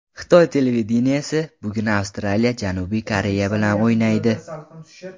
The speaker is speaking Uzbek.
Xitoy televideniyesi: Bugun Avstraliya Janubiy Koreya bilan o‘ynaydi.